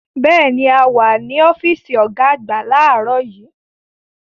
Bẹ́ẹ̀ni, a wà ní ọ́fíìsì ọ̀gá àgbà láàárọ̀ yìí.